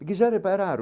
Porque já repararam